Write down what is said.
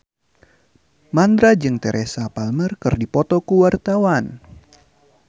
Mandra jeung Teresa Palmer keur dipoto ku wartawan